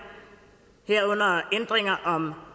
herunder ændringer om